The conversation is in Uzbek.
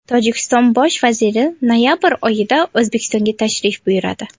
Tojikiston bosh vaziri noyabr oyida O‘zbekistonga tashrif buyuradi.